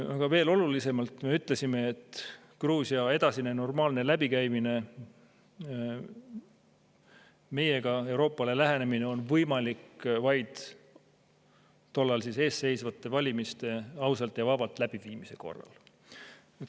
Aga veel olulisem on, et me ütlesime, et Gruusia edasine normaalne läbikäimine meiega, Euroopale lähenemine on võimalik vaid tol ajal ees seisnud valimiste ausalt ja vabalt läbiviimise korral.